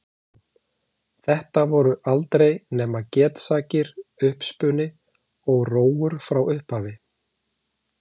Nú, þetta voru aldrei nema getsakir, uppspuni og rógur frá upphafi.